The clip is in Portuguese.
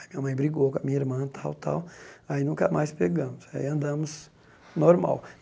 Aí minha mãe brigou com a minha irmã, tal, tal, aí nunca mais pegamos, aí andamos normal.